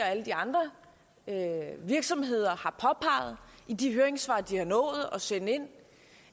alle de andre virksomheder har påpeget i de høringssvar de har nået at sende ind